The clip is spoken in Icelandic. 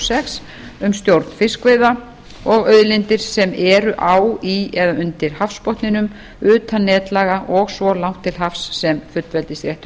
sex um stjórn fiskveiða og auðlindir sem eru á í eða undir hafsbotninum utan netlaga og svo langt til hafs sem fullveldisréttur